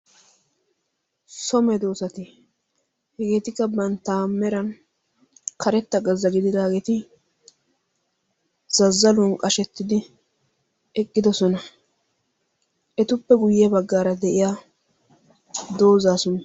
somee doosati hegeetikka bantta meran karetta gazzagididaageeti zazzaluwan qashettidi eqqidosona. etuppe guyye baggaara de'iya doozaasuna?